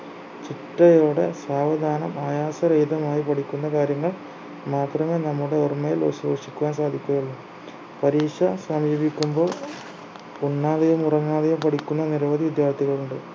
ചിട്ടയോടെ സാവധാനം ആയാസരഹിതമായി പഠിക്കുന്ന കാര്യങ്ങൾ മാത്രമേ നമ്മുടെ ഓർമ്മയിൽ അവശേഷിക്കാൻ സാധ്യതയുള്ളൂ പരീക്ഷ സമീപിക്കുമ്പോൾ ഉണ്ണാതെയും ഉറങ്ങാതെയും പഠിക്കുന്ന നിരവധി വിദ്യാർത്ഥികളുണ്ട്